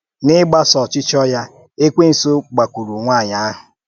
N’ìgbàsò ọ̀chịchọ́ ya, Èkwènsụ gbàkwúùrụ̀ nwànyị ahụ̀.